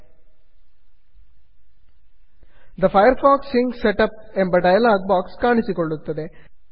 the Firefox sync setup the Firefox skin set up ಎಂಬ dialog box ಕಾಣಿಸಿಕೊಳ್ಳುತ್ತದೆ